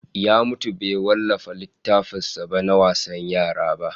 Ya mutu bai wallafa littafin sa na wasan yara ba